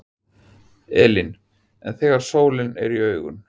Elín: En þegar sólin er í augun?